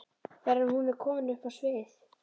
fyrr en hún er komin upp á svið.